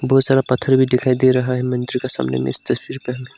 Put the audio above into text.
बहुत सारा पत्थर भी दिखाई दे रहा है मंदिर का सामने में इस तस्वीर पर।